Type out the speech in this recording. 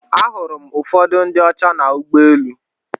Ahụrụ m ụfọdụ ndị ọcha na ụgbọ elu.